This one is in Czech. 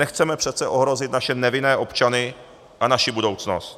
Nechceme přece ohrozit naše nevinné občany a naši budoucnost.